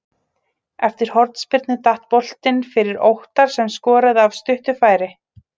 Eftir hornspyrnu datt boltinn fyrir Óttar sem skoraði af stuttu færi.